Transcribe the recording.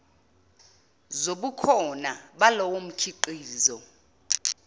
zobukhona balowo mkhiqizo